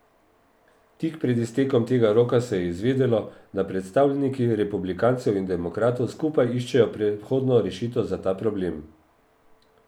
Tik pred iztekom tega roka se je izvedelo, da predstavniki republikancev in demokratov skupaj iščejo prehodno rešitev za ta problem.